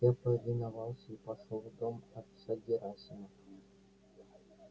я повиновался и пошёл в дом отца герасима